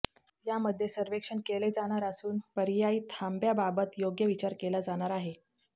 यामध्ये सर्वेक्षण केले जाणार असून पर्यायी थांब्याबाबत योग्य विचार केला जाणार आहे